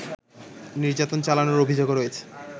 নির্যাতন চালানোর অভিযোগও রয়েছে